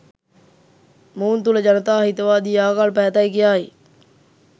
මොවුන් තුල ජනතා හිතවාදී ආකල්ප ඇතැයි කියායි